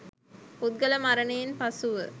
පුද්ගල මරණයෙන් පසුව